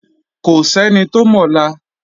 Kò sẹ́ni tó mọ̀la.